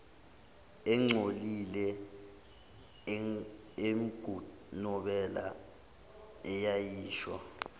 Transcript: engcolile engunobela eyayisho